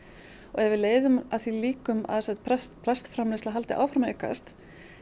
ef við leiðum af því líkum að plastframleiðsla haldi áfram að aukast